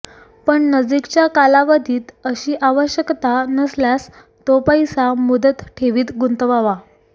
पण नजीकच्या कालावधीत अशी आवश्यकता नसल्यास तो पैसा मुदत ठेवीत गुंतवावा